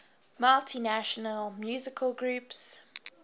multinational musical groups